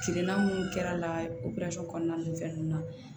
Kirina mun kɛr'a la operasɔn kɔnɔna ninnu fɛn nunnu na